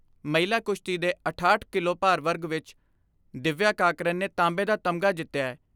ਮਹਿਲਾ ਕੁਸ਼ਤੀ ਦੇ ਅਠਾਹਠ ਕਿਲੋਭਾਰ ਵਰਗ ਵਿਚ ਦਿਵਯਾ ਕਾਕਰਨ ਨੇ ਤਾਂਬੇ ਦਾ ਤਮਗਾ ਜਿਤਿਐ।